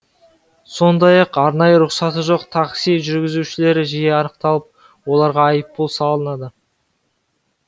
сондай ақ арнайы рұқсаты жоқ такси жүргізушілері жиі анықталып оларға айыппұл салынады